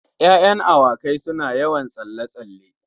Ya'yan awaki suna yawan tsalle-tsalle.